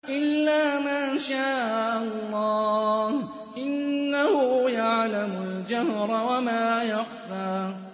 إِلَّا مَا شَاءَ اللَّهُ ۚ إِنَّهُ يَعْلَمُ الْجَهْرَ وَمَا يَخْفَىٰ